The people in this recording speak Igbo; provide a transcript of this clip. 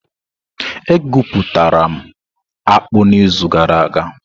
E guputara m akpu n'izu gara aga.